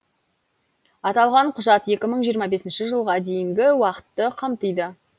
аталған құжат екі мың жиырма бесінші жылға дейінгі уақытты қамтиды